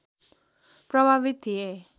प्रभावित थिए